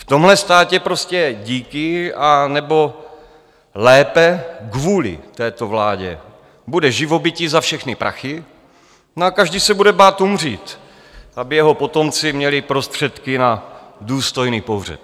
V tomhle státě prostě díky, anebo lépe kvůli této vládě bude živobytí za všechny prachy, no a každý se bude bát umřít, aby jeho potomci měli prostředky na důstojný pohřeb.